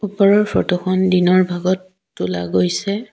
ওপৰৰ ফটোখন দিনৰ ভাগত তোলা গৈছে।